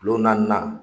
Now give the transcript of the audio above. Kulo naani na